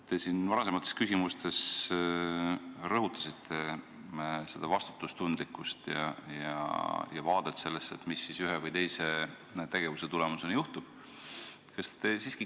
Te varasemates küsimustes rõhutasite vastutustundlikkust ja seda vaadet, mis ühe või teise tegevuse tulemusena juhtub.